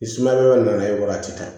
Ni sumaya nana ye wagati bɛɛ